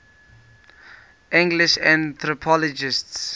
english anthropologists